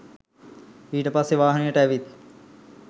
ඊට පස්සේ වාහනේට ඇවිත්